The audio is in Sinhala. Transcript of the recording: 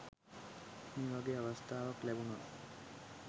මේ වගේ අවස්ථාවක් ලැබුනොත්